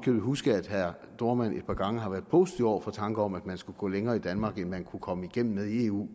købet huske at herre dohrmann et par gange har været positiv over for tanker om at man skulle gå længere i danmark end man kunne komme igennem med i eu